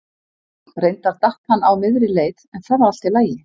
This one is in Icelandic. Reyndar datt hann á miðri leið en það var allt í lagi.